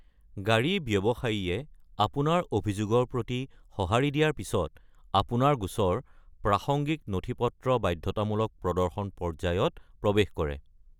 গাড়ী ব্যৱসায়ীয়ে আপোনাৰ অভিযোগৰ প্ৰতি সঁহাৰি দিয়াৰ পিছত, আপোনাৰ গোচৰ প্ৰাসংগিক নথি-পত্ৰ বাধ্যতামূলক প্ৰদৰ্শন পৰ্যায়ত প্ৰৱেশ কৰে।